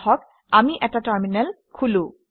আহক আমি এটা টাৰমিনেল খোলো